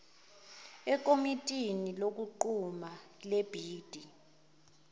ekomitini lokunquma lebhidi